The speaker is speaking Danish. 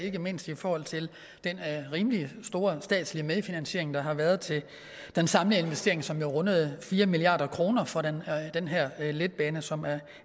ikke mindst i forhold til den rimelig store statslige medfinansiering der har været til den samlede investering som jo rundede fire milliard kroner for den her letbane som er